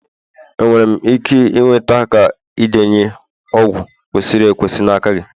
Enwere m ike ịnweta ka indenye ọgwụ kwesịrị ekwesị n'aka gị?